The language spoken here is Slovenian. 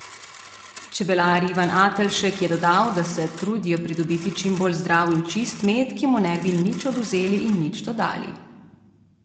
Čebelar Ivan Atelšek je dodal, da se trudijo pridobiti čim bolj zdrav in čist med, ki mu ne bi nič odvzeli in nič dodali.